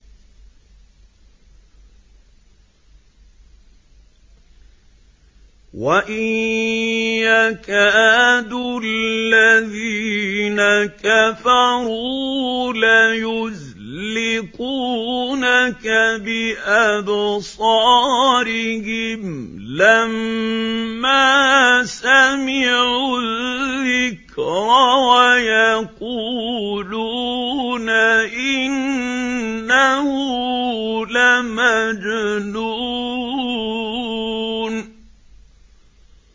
وَإِن يَكَادُ الَّذِينَ كَفَرُوا لَيُزْلِقُونَكَ بِأَبْصَارِهِمْ لَمَّا سَمِعُوا الذِّكْرَ وَيَقُولُونَ إِنَّهُ لَمَجْنُونٌ